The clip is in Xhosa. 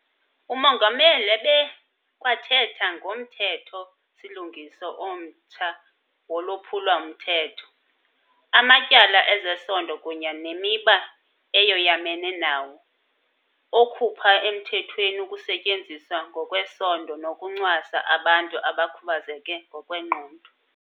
UMongameli ebekwathetha ngoMthetho-silungiso omtsha woLwaphulo-mthetho, amaTyala ezeSondo kunye neMiba eyoyamene nawo, okhupha emthethweni ukusetyenziswa ngokwesondo nokuncwasa abantu abakhubazeke ngokwengqondo.